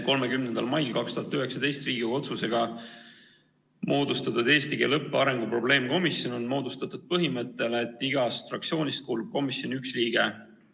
30. mail 2019 Riigikogu otsusega moodustatud eesti keele õppe arengu probleemkomisjon on moodustatud põhimõttel, et igast fraktsioonist kuulub komisjoni üks liige.